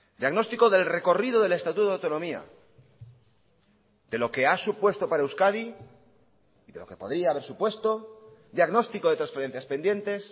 diagnóstico del recorrido del estatuto de autonomía de lo que ha supuesto para euskadi y de lo que podría haber supuesto diagnóstico de transferencias pendientes